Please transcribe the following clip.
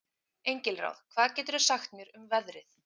Engilráð, hvað geturðu sagt mér um veðrið?